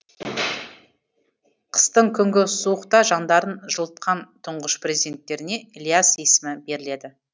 қыстың күнгі суықта жандарын жылытқан тұңғыш перзенттеріне ілияс есімі беріледі